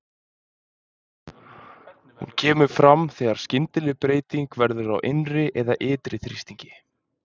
Hún kemur fram þegar skyndileg breyting verður á innri eða ytri þrýstingi.